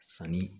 Sanni